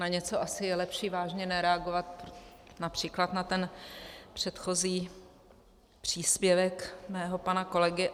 Na něco asi je lepší vážně nereagovat, například na ten předchozí příspěvek mého pana kolegy.